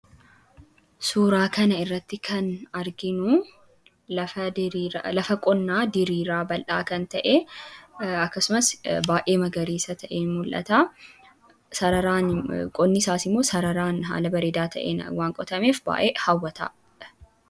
Suuraa kana irratti kan arginu lafa qonnaa diriiraa bal'aa kan ta'e. Akkasumas baay'ee magariisa ta'ee mul'ata. Sararaan qonni isaas immoo sararaan haala bareedaa ta'een waan qotameef, baay'ee hawwataa dha.